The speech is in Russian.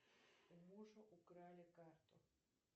у мужа украли карту